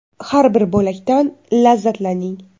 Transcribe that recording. Har bir bo‘lakdan lazzatlaning.